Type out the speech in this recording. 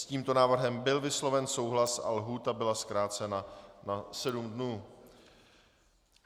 S tímto návrhem byl vysloven souhlas a lhůta byla zkrácena na sedm dnů.